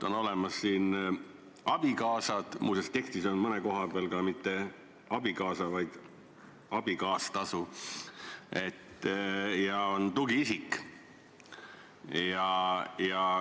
On olemas abikaasad – muuseas, tekstis on mõne koha peal kirjas mitte "abikaasatasu", vaid "abikaastasu" – ja on tugiisikud.